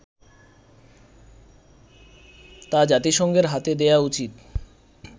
তা জাতিসংঘের হাতে দেয়া উচিৎ